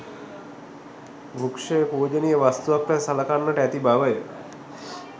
වෘක්‍ෂය පූජනීය වස්තුවක් ලෙස සලකන්නට ඇති බවය.